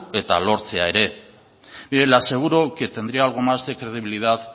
eta lortzea ere mire le aseguro que tendría algo más de credibilidad